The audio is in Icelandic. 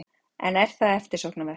En er það eftirsóknarvert?